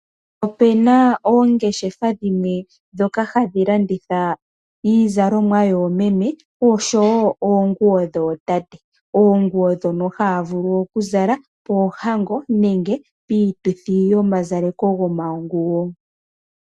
Ope na oongeshefa dhimwe ndhoka hadhi landitha iizalomwa yoomeme oshowo oonguwo dhootate. Oonguwo dhono haya vulu okuzala poohango nenge piituthi yoma zaleko gomaguwo.